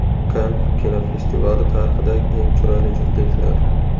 Kann kinofestivali tarixidagi eng chiroyli juftliklar .